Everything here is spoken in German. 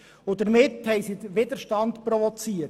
Damit haben sie Widerstand provoziert.